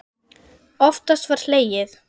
Oftast var hlegið.